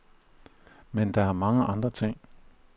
Men der er mange andre ting.